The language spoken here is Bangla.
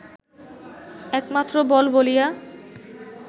একমাত্র বল বলিয়া